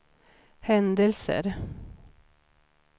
händelser